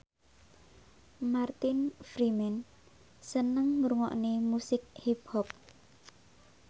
Martin Freeman seneng ngrungokne musik hip hop